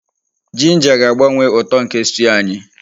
Ginger ga-agbanwe uto nke stew anyị.